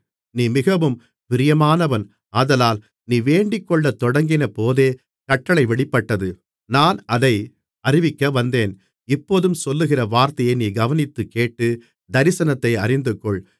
நீ மிகவும் பிரியமானவன் ஆதலால் நீ வேண்டிக்கொள்ளத் தொடங்கினபோதே கட்டளை வெளிப்பட்டது நான் அதை அறிவிக்கவந்தேன் இப்போதும் சொல்லுகிற வார்த்தையை நீ கவனித்துக்கேட்டு தரிசனத்தை அறிந்துகொள்